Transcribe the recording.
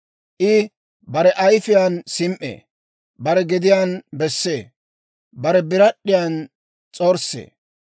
I bare ayifiyaan sim"ee; bare gediyaan bessee; bare birad'd'iyan s'orssee.